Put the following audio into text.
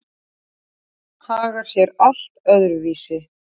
Vatn hagar sé allt öðru vísi.